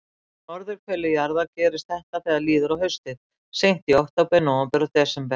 Á norðurhveli jarðar gerist þetta þegar líður á haustið, seint í október, nóvember og desember.